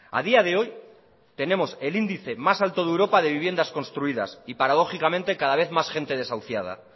a día de hoy tenemos el índice más alto de europa de viviendas construidas y paradójicamente cada vez más gente desahuciada